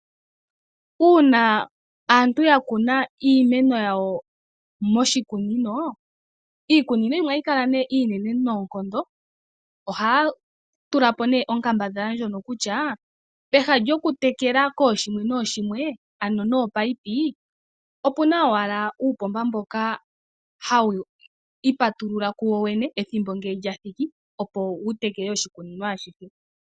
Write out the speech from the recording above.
Uuna aatu ya kuna iimeno yawo moshikunino, iikunino yimwe ohayi kala nee iinene noonkondo. Ohaya tulapo nee onkambadhala ndjono kutya, peha lyokutekela kooshimwe nooshimwe, ano nominino, opuna uupomba mboka hawu ipatulula woowene, ethimbo ngele lyathiki opo wu tekele oshikunino ashihe.